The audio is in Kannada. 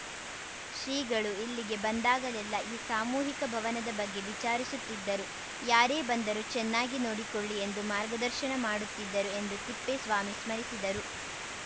ಶ್ರೀಗಳು ಇಲ್ಲಿಗೆ ಬಂದಾಗಲೆಲ್ಲ ಈ ಸಾಮೂಹಿಕ ಭವನದ ಬಗ್ಗೆ ವಿಚಾರಿಸುತ್ತಿದ್ದರು ಯಾರೇ ಬಂದರೂ ಚೆನ್ನಾಗಿ ನೋಡಿಕೊಳ್ಳಿ ಎಂದು ಮಾರ್ಗದರ್ಶನ ಮಾಡುತ್ತಿದ್ದರು ಎಂದು ತಿಪ್ಪೇಸ್ವಾಮಿ ಸ್ಮರಿಸಿದರು